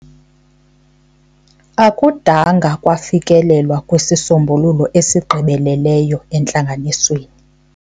Akudanga kwafikelelwa kwisisombululo esigqibeleleyo entlanganisweni.